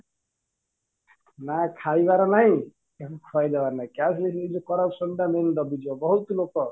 ନା ଖାଇବାର ନାଇଁ ଖୁଏଇଦେବାର ନାଇଁ corruption ଟା main ଦବି ଯିବ ବହୁତ ଲୋକ